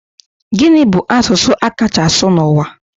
Gini bu asụsụ a kacha asụ n'ụwa?